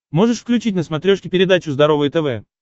можешь включить на смотрешке передачу здоровое тв